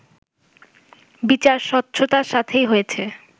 বিচার স্বচ্ছতার সাথেই হয়েছে